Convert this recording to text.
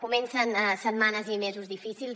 comencen setmanes i mesos difícils